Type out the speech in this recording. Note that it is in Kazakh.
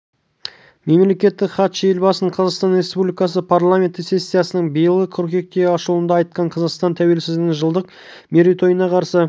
мемлекеттік хатшы елбасының қазақстан республикасы парламенті сессиясының биылғы қыркүйектегі ашылуында айтқан қазақстан тәуелсіздігінің жылдық мерейтойын қарсы